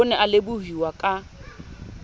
o ne a lebohuwa ka